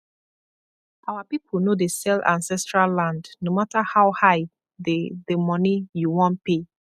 our people no dey sell ancestral land no matter how high the the money you wan pay